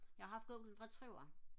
jeg har haft Golden Retriever